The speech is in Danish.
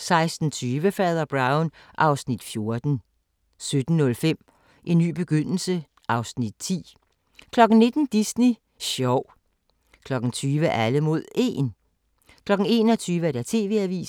16:20: Fader Brown (Afs. 14) 17:05: En ny begyndelse (Afs. 10) 19:00: Disney sjov 20:00: Alle mod 1 21:00: TV-avisen